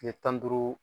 Kile tan ni duuru